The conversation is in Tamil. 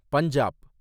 பஞ்சாப்